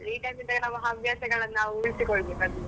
Free time ಅಲ್ಲಿ ಹವ್ಯಾಸಗಳನ್ನು ನಾವ್ ಉಳಿಸಿಕೊಳ್ಲಬೇಕಾಗಿದೆ.